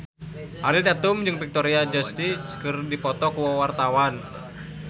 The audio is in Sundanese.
Ariel Tatum jeung Victoria Justice keur dipoto ku wartawan